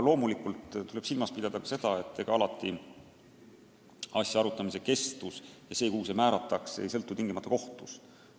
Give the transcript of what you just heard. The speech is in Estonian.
Loomulikult tuleb silmas pidada ka seda, et alati asja arutamise kestus ja see, kuhu see määratakse, ei sõltu tingimata kohtust.